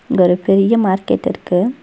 இங்க ஒரு பெரிய மார்க்கெட் இருக்கு.